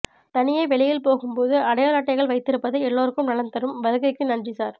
தனியே வெளியில் போகும்போது அடையாள அட்டைகள்வைத்திருப்பது எல்லோருக்கும் நலன் தரும் வருகைக்கு நன்றி சார்